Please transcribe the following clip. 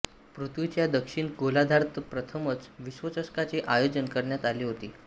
पृथ्वीच्या दक्षिण गोलार्धात प्रथमच विश्वचषकाचे आयोजन करण्यात आले होते